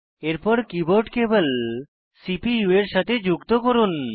এরপর keyboard cable CPU এর সাথে যুক্ত করুন